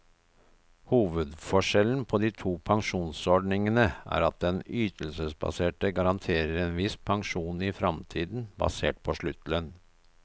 Hovedforskjellen på de to pensjonsordningene er at den ytelsesbaserte garanterer en viss pensjon i fremtiden, basert på sluttlønn.